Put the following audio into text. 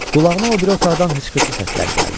Qulağına o biri otaqdan hıçqırtı səsləri gəldi.